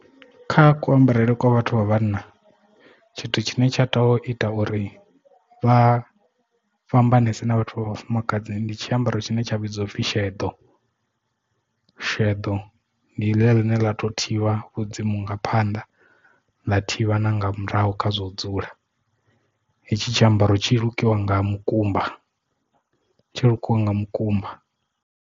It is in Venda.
Kha kuambarele kwa vhathu vha vhanna tshithu tshine tsha to ita uri vha fhambanese na vhathu vha vhafumakadzi ndi tshiambaro tshine tsha vhidzwa upfhi sheḓo, sheḓo ndi ḽia ḽine ḽa to thivha vhudzimu nga phanḓa ḽa thivha na nga murahu khazwo dzula hetshi tshiambaro tshi lukiwa nga mukumba tshi lukiwa nga mukumba.